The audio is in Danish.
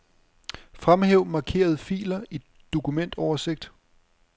Fremhæv markerede filer i dokumentoversigt.